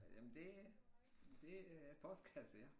Jamen det det er postkasse ja